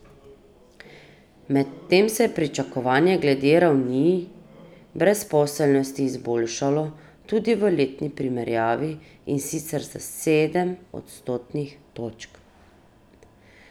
Medtem se je pričakovanje glede ravni brezposelnosti izboljšalo tudi v letni primerjavi, in sicer za sedem odstotnih točk.